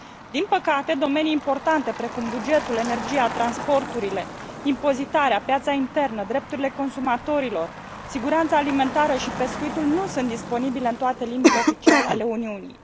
Din păcate, domenii importante, precum bugetul, energia, transporturile, impozitarea, piața internă, drepturile consumatorilor, siguranța alimentară și pescuitul nu sunt disponibile în toate limbile oficiale ale Uniunii.